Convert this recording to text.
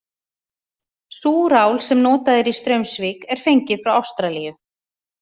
Súrál sem notað er í Straumsvík er fengið frá Ástralíu.